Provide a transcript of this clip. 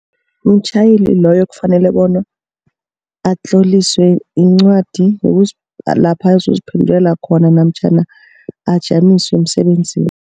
Mtjhayeli loyo kufanele bona atloliswe incwadi lapha azoziphendulela khona namtjhana ajanyiswe emsebenzini.